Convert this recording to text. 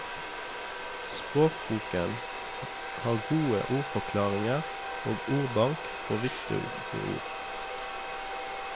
Språkboken har gode ordforklaringer og ordbank for viktige ord.